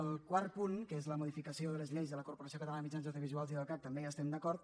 el quart punt que és la modificació de les lleis de la corporació catalana de mitjans audiovisuals i el cac també hi estem d’acord